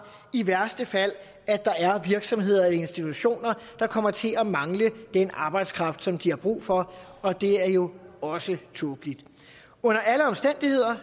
i værste fald risikerer at der er virksomheder og institutioner der kommer til at mangle den arbejdskraft som de har brug for og det er jo også tåbeligt under alle omstændigheder er